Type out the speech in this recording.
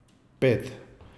Pet.